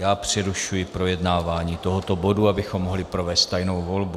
Já přerušuji projednávání tohoto bodu, abychom mohli provést tajnou volbu.